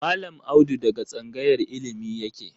Mallam Audu daga tsangayar illimi yake.